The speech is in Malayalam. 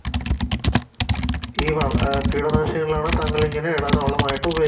അഹ് കീടനാശിനികളാണ് താങ്കളിങ്ങനെ മായിട്ട് ഉപയോഗി